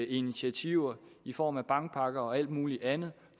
initiativer i form af bankpakker og alt mulig andet